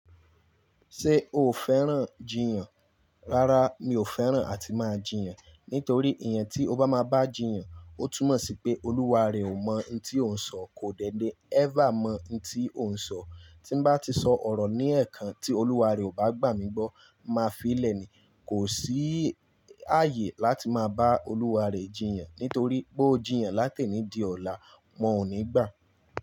Ṣé o fẹ́ràn jiyàn? Rárá, mi ò fẹ́ràn àti máa jiyàn. Nítorí èèyàn tí ó bá máa bá jiyàn, ó túmọ̀ sí pé olúwa rẹ̀ ò mọ̀ ohun tí ó ń sọ, kò dẹ́lẹ́ ever mọ ohun tí ó ń sọ. Tí n bá ti sọ ọ̀rọ̀ ní ẹ̀ẹ̀kan tí olúwa rẹ̀ ò bá gbà mí gbọ́, màá fi í lẹ̀ ni. Kò sí ààyè láti máa bá olúwa rẹ jiyàn. Nítorí bó jiyàn láti èní di ọ̀la, wọ́n ò ní gbà.